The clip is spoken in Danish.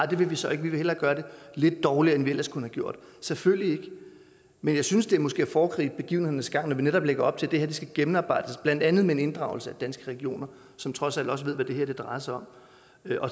det vil vi så ikke vi vil hellere gøre det lidt dårligere end vi ellers kunne gjort selvfølgelig ikke men jeg synes det måske er at foregribe begivenhedernes gang når vi netop lægger op til at det her skal gennemarbejdes blandt andet med en inddragelse af danske regioner som trods alt også ved hvad det her drejer sig om